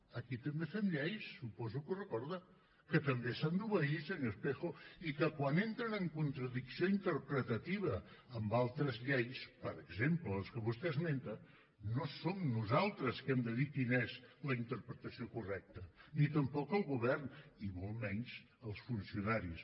aquí també fem lleis suposo que ho recorda que també s’han d’obeir senyor espejo i que quan entren en contradicció interpretativa amb altres llei per exemple les que vostè esmenta no som nosaltres que hem de dir quina és la interpretació correcta ni tampoc el govern i molt menys els funcionaris